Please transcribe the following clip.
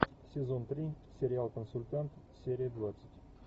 сезон три сериал консультант серия двадцать